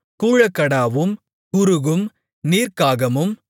கூழக்கடாவும் குருகும் நீர்க்காகமும்